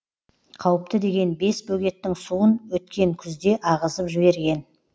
қауіпті деген бес бөгеттің суын өткен күзде ағызып жіберген